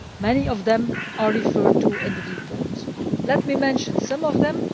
Many of them are referred to in the report. Let me mention some of them.